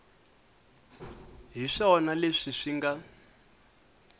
hi swona leswi swi nga